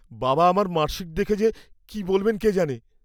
বাবা আমার মার্কশীট দেখে যে কি বলবেন কে জানে।